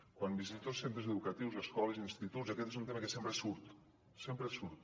quan visito centres educatius escoles i instituts aquest és un tema que sempre surt sempre surt